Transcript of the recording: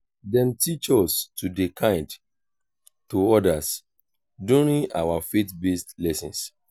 dem teach us to dey kind to others during our faith-based lessons.